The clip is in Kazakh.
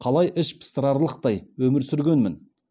қалай іш пыстырарлықтай өмір сүргенмін